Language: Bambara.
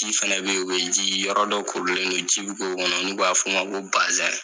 Ji fɛnɛ be ye, u be ji yɔrɔ dɔ korilen don. Ji bi k'o kɔnɔ n'u b'a f'o ma ko basɛn.